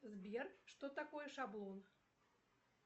сбер что такое шаблон